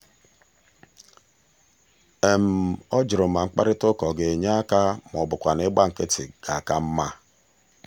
ọ jụrụ ma mkparịtaụka ọ ga-enye aka ma ọ bụkwanụ ịgba nkịtị ga-aka mma.